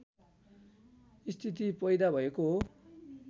स्थिति पैदा भएको हो